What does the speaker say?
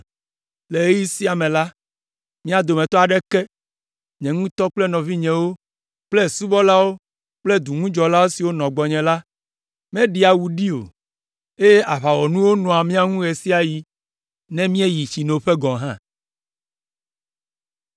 Le ɣeyiɣi sia me la, mía dometɔ aɖeke, nye ŋutɔ kple nɔvinyewo kple subɔlawo kple duŋudzɔla siwo nɔ gbɔnye la, míeɖea awu ɖi o, eye aʋawɔnuwo nɔa mía ŋu ɣe sia ɣi ne míeyi tsinoƒe gɔ̃ hã.